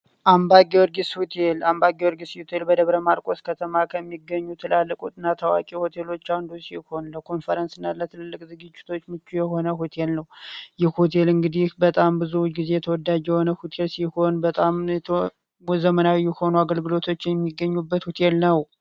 አምባ ጊዮርጊስ ሚካኤል አምባ ጊዮርጊስ ሚካኤል በደብረማርቆስ ከተማ ከሚገኙ ትላልቅና ታዋቂ ሆቴሎች አንዱ ሲሆን ለመዝናናትና ለትልቅ ዝግጅቶች ተስማሚ የሆነ ሆቴል ነው ይህ ሆቴል እንግዲህ በጣም ብዙ ጊዜ ተወዳጅ የሆነ ሆቴል ሲሆን በጣም ልዩ የሆኑ ዘመናዊ አገልግሎቶች የሚገኙበት ሆቴል ነው።